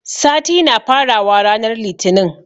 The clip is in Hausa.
Sati na fara wa ranar litinin